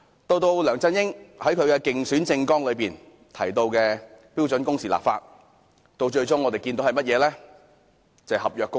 此外，梁振英在競選政綱提到就標準工時立法，但我們最終看到的是合約工時。